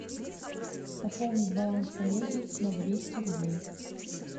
пополнить баланс коллеги на двести рублей